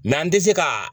Mɛ an tɛ se ka